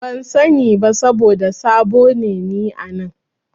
Ban sani ba saboda sabo ne ni a nan.